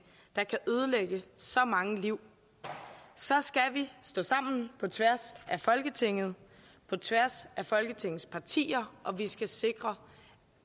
der kan ødelægge så mange liv så skal vi stå sammen på tværs af folketingets af folketingets partier og vi skal sikre